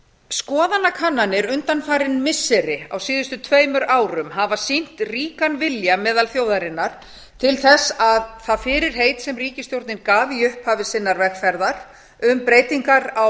skoðanakannanir undanfarin missiri á síðustu tveimur árum hafa sýnt ríkan vilja meðal þjóðarinnar til þess að það fyrirheit sem ríkisstjórnin gaf í upphafi sinnar vegferðar um breytingar á